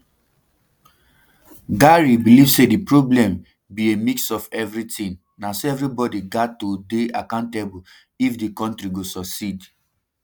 gary believe say di problem be a mix of everitin na so everibodi gat to dey accountable if di kontri go succeed